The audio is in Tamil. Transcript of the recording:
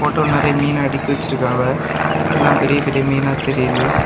போட்டோ நறைய மீன் அடுக்கி வெச்சிருக்காங்க எல்லாம் பெரிய பெரிய மீனா தெரியுது.